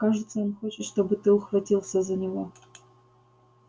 кажется он хочет чтобы ты ухватился за него